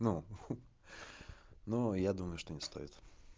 ну ну я думаю что не стоит